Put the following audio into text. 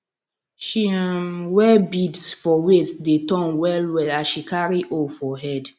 she um wear beads for waist dey turn wellwell as she carry hoe for head